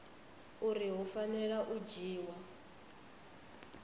uri hu fanela u dzhiwa